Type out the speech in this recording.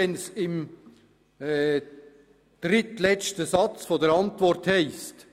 Wenn es im drittletzten Satz der Antwort heisst: